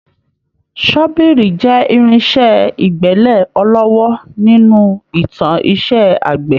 Ṣọ́bìrì jẹ́ irinṣẹ́ ìgbẹ́lẹ̀ ọlọ́wọ́ nínú ìtàn iṣẹ́ àgbẹ̀